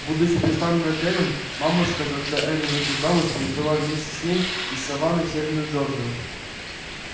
будучи приставлена к эллин мамушка когда эллин вышла замуж прибыла вместе с ней из саванны в северную джорджию